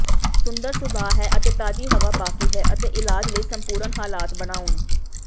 ਸੁੰਦਰ ਸੁਭਾਅ ਹੈ ਅਤੇ ਤਾਜ਼ੀ ਹਵਾ ਬਾਕੀ ਹੈ ਅਤੇ ਇਲਾਜ ਲਈ ਸੰਪੂਰਣ ਹਾਲਾਤ ਬਣਾਉਣ